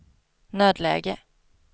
nödläge